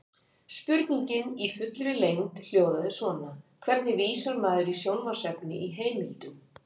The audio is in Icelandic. Spurningin í fullri lengd hljóðaði svona: Hvernig vísar maður í sjónvarpsefni í heimildum?